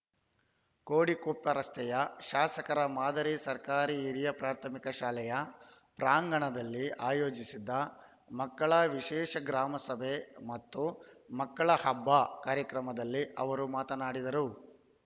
ಕೋಡಿಕೊಪ್ಪ ರಸ್ತೆಯ ಶಾಸಕರ ಮಾದರಿ ಸರ್ಕಾರಿ ಹಿರಿಯ ಪ್ರಾಥಮಿಕ ಶಾಲೆಯ ಪ್ರಾಂಗಣದಲ್ಲಿ ಆಯೋಜಿಸಿದ್ದ ಮಕ್ಕಳ ವಿಶೇಷ ಗ್ರಾಮಸಭೆ ಮತ್ತು ಮಕ್ಕಳ ಹಬ್ಬ ಕಾರ್ಯಕ್ರಮದಲ್ಲಿ ಅವರು ಮಾತನಾಡಿದರು